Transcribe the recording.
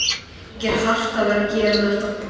Þykir hart að verða að gera þetta.